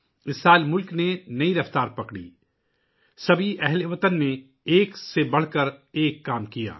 اس سال ملک نے نئی رفتار پکڑی، تمام اہل وطن نے ایک سے بڑھ کر ایک کام کیا